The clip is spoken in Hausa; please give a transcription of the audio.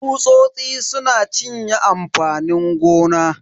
Tsusosi suna cinye amfanin gona.